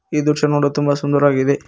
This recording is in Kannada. ಈ ದೃಶ್ಯ ನೋಡ ತುಂಬ ಸುಂದರವಾಗಿದೆ.